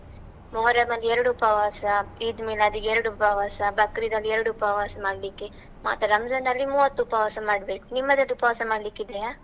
ಮೊಹರಂ ಅಲ್ಲಿ ಎರಡು ಉಪವಾಸ, ಈದ್ಮಿಲಾದ್‌ ಗೆ ಎರಡು ಉಪವಾಸ, ಬಕ್ರಿದ್ ಅಲ್ಲಿ ಎರಡು ಉಪವಾಸ ಮಾಡ್ಲಿಕ್ಕೆ, ಮಾತ್ರ ರಂಜಾನ್ ಅಲ್ಲಿ ಮೂವತ್ತು ಉಪವಾಸ ಮಾಡ್ಬೇಕು, ನಿಮ್ಮದ್ರಲ್ಲಿ ಉಪವಾಸ ಮಾಡ್ಲಿಕ್ಕಿದೆಯಾ?